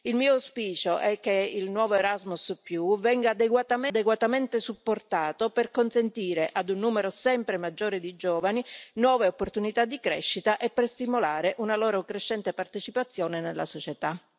Il mio auspicio è che il nuovo Erasmus venga adeguatamente supportato per consentire, a un numero sempre maggiore di giovani, nuove opportunità di crescita e per stimolare una loro crescente partecipazione nella società.